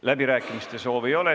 Läbirääkimiste soovi ei ole.